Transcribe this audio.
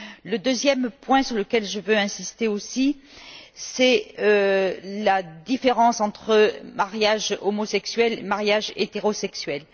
Le deuxième point sur lequel je veux insister, c'est la différence entre mariage homosexuel et mariage hétérosexuel.